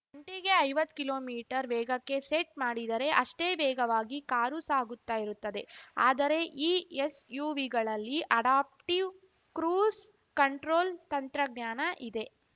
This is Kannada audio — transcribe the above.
ಗಂಟೆಗೆ ಐವತ್ ಕಿಲೋ ಮೀಟರ್ ವೇಗಕ್ಕೆ ಸೆಟ್‌ ಮಾಡಿದರೆ ಅಷ್ಟೇ ವೇಗವಾಗಿ ಕಾರು ಸಾಗುತ್ತಾ ಇರುತ್ತದೆ ಆದರೆ ಈ ಎಸ್‌ಯುವಿಗಳಲ್ಲಿ ಅಡಾಪ್ಟಿವ್‌ ಕ್ರೂಸ್‌ ಕಂಟ್ರೋಲ್‌ ತಂತ್ರಜ್ಞಾನ ಇದೆ